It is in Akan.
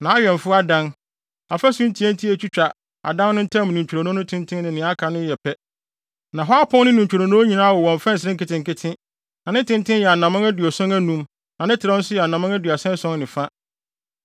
Nʼawɛmfo adan, afasu ntiatia a etwitwa adan no ntam ne ntwironoo no tenten ne nea aka no yɛ pɛ. Na hɔ apon no ne ne ntwironoo nyinaa wowɔ mfɛnsere nketenkete. Na ne tenten yɛ anammɔn aduɔson anum na ne trɛw nso yɛ anammɔn aduasa ason ne fa.